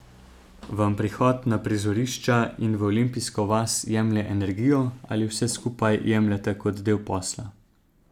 Vam prihod na prizorišča in v olimpijsko vas jemlje energijo ali vse skupaj jemljete kot del posla?